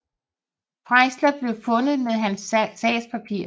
Freisler blev fundet med hans sagspapirer